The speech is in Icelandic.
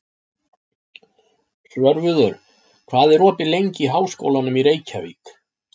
Svörfuður, hvað er opið lengi í Háskólanum í Reykjavík?